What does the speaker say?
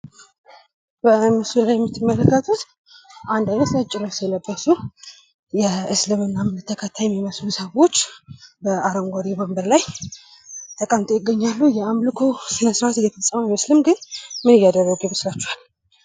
በምስሉ ላይ የምትመለከቱት አንድ አይነት ነጭ ልብስ የለበሱ የእስልምና እምነት ተከታይ የሚመስሉ ሰዎች በአረንጓዴ ወንበር ላይ ተቀምጠው ይገኛሉ። የአምልኮ ስነስርአት እየፈጸሙ አይመስልም ገን ምን እያደረጉ ይመስላችኋል?